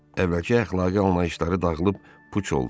Əvvəlki əxlaqi anlayışları dağılıb puç oldu.